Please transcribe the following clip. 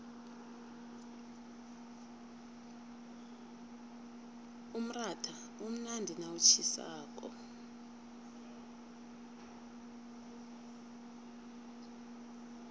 umratha umnandi nawutjhisako